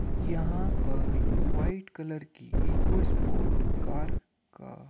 यहाँं पर white colour की इकोस्पोर्ट कार का --